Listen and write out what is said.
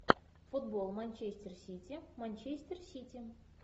футбол манчестер сити манчестер сити